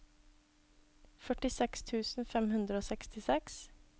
førtiseks tusen fem hundre og sekstiseks